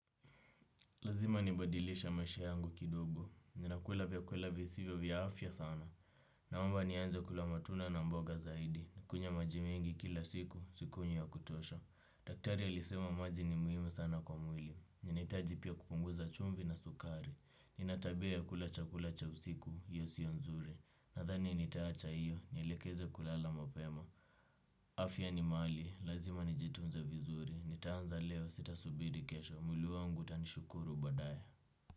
Lazima nibadilishe maisha yangu kidogo. Ninakula vyakula visivyo vya afya sana. Naomba nianze kula matunda na mboga zaidi. Nikunywe majimengi kila siku, sikunywi ya kutosha. Daktari alisema maji ni muhimu sana kwa mwili. Ninahitaji pia kupunguza chumvi na sukari. Nina tabia ya kula chakula cha usiku, hiyo sio nzuri. Nadhani nitaacha hiyo, nielekeze kulala mapema. Afya ni mali, lazima nijitunze vizuri. Nitaanza leo sita subiri kesho. Mwili wangu utani shukuru badaye.